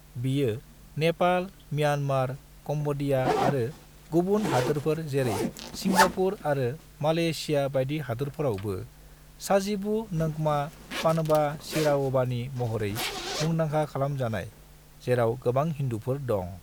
बेयो Nepal, Myanmar, Cambodia आरो गुबुन हादोरफोर जेरै सिंगापुर आरो मलेशिया बायदि हादोरफोरावबो साजिबू नोंगमा पनबा चीराओबानि महरै मुंदांखा खालाम जानाय, जेराव गोबां हिन्दुफोर दं।